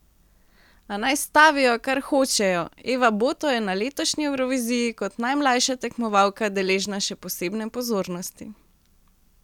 A naj stavijo, kar hočejo, Eva Boto je na letošnji Evroviziji kot najmlajša tekmovalka deležna še posebne pozornosti.